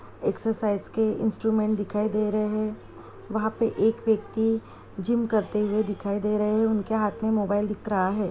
Exercise के instrument दिखाई दे रहे है। वहाँ पे एक व्यक्ति जिम करते हुए दिखाई दे रहे हैं। उनके हाथ में मोबाइल दिख रहा है।